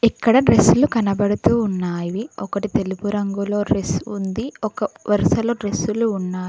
ఇక్కడ డ్రెస్లు కనబడుతూ ఉన్నావి ఒకటి తెలుపు రంగులో డ్రెస్ ఉంది వరుసలో డ్రెస్లు ఉన్నా --